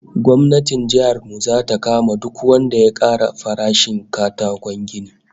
Gwamnatin jihar mu zata kama duk wanda ya ƙara farashin katakon gini